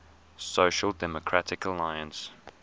social democratic alliance